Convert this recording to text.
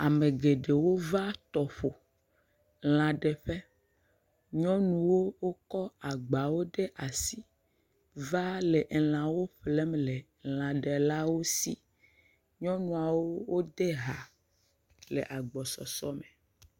Ame geɖewo va tɔƒo lã ɖeƒe. Nyɔnuwo kɔ agba ɖe asi va le lãwo ƒlem le lãɖelawo si. Nyɔnuwo de ha le agbɔsese me.